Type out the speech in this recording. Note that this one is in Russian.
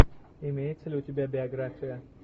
имеется ли у тебя биография